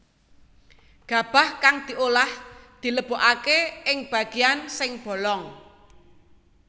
Gabah kang diolah dilebokaké ing bagéan sing bolong